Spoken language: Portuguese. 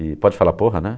E pode falar porra, né?